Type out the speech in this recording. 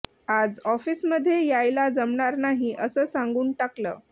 आज ऑफिसमधे यायला जमणार नाही अस सांगून टाकल